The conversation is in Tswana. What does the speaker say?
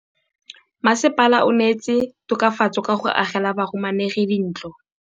Mmasepala o neetse tokafatsô ka go agela bahumanegi dintlo.